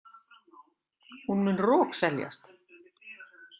Hún mun rokseljast!